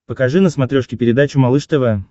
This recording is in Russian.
покажи на смотрешке передачу малыш тв